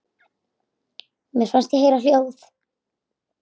Mér fannst ég heyra hljóð.